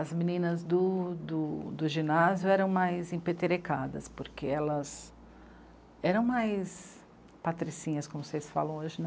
As meninas do do do ginásio eram mais empetrecadas, porque elas... eram mais patricinhas, como vocês falam hoje, né.